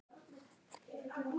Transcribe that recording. Far í friði, elsku Ninna.